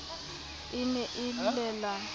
e ne e le la